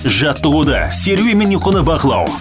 жаттығуды серуен мен ұйқыны бақылау